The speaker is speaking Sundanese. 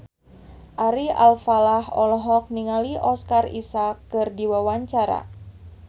Ari Alfalah olohok ningali Oscar Isaac keur diwawancara